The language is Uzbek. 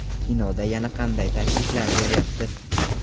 Kinoda yana qanday takliflar bo‘lyapti?